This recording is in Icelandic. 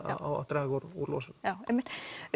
að draga úr losun já einmitt